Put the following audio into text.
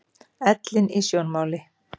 Ellin í sjónmáli.